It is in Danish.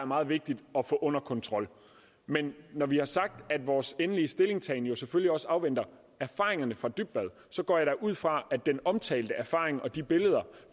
meget vigtigt at få under kontrol men når vi har sagt at vores endelige stillingtagen selvfølgelig også afventer erfaringerne fra dybvad går jeg da ud fra at den omtalte erfaring og de billeder